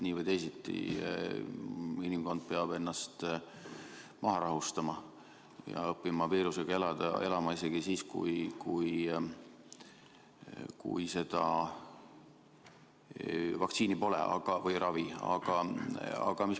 Nii või teisiti peab inimkond ennast maha rahustama ja õppima viirusega elama isegi siis, kui vaktsiini või ravi pole.